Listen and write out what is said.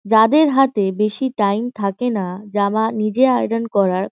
যাদের হাতে বেশি টাইম থাকে না জামা নিজে আয়রন করার --